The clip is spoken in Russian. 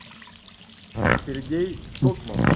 сергей токман